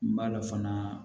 N b'a la fana